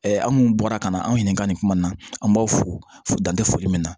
an kun bɔra ka na anw ɲininka nin kuma in na an b'aw fo dan tɛ foli min na